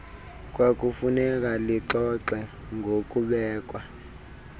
kwakufuneka lixoxe ngokubekwa